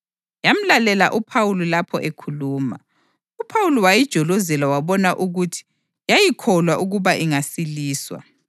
Yamlalela uPhawuli lapho ekhuluma. UPhawuli wayijolozela wabona ukuthi yayikholwa ukuba ingasiliswa